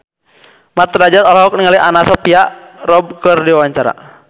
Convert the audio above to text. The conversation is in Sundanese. Mat Drajat olohok ningali Anna Sophia Robb keur diwawancara